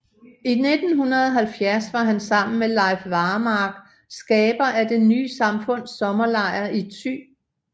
I 1970 var han sammen med Leif Varmark skaber af Det ny samfunds sommerlejr i Thy